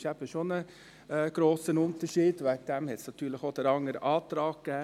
Das ist eben doch ein grosser Unterschied, und deshalb gab es denn auch den anderen Antrag.